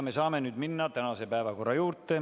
Me saame nüüd minna tänase päevakorra juurde.